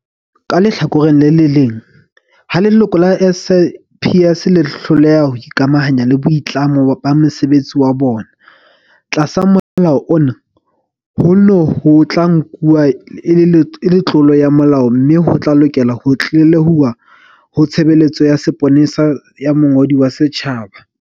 Ka lehlakoreng le leng, ha leloko la SAPS le hloleha ho ikamahanya le boitlamo ba mosebetsi wa bona, tlasa Molao ona, hono ho tla nku-wa e le tlolo ya molao mme ho tla lokelwa ho tlelehuwa ho Tshebe-letso ya Sepolesa ya Mongodi wa Setjhaba.